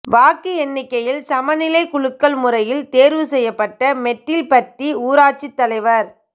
வாக்கு எண்ணிக்கையில் சமநிலை குலுக்கல் முறையில் தோ்வு செய்யப்பட்ட மெட்டில்பட்டி ஊராட்சித் தலைவா்